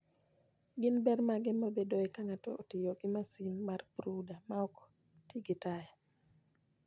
Gin ber mage mabedoe ka ng'ato otiyo gi masin mar brooder maok ti gi taya?